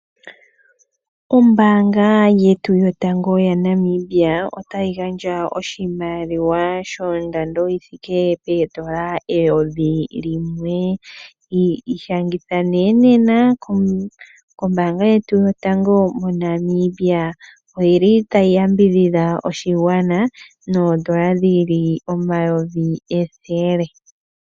Ombanga yetu yotango yaNamibia, otayi gandja oshimaliwa shondando yithike poondola eyovi limwe, ishangitha née nena kombanga yotango yetu moNamibia oyili tayi yambidhidha oshigwana noondola dhili omayovi ethele.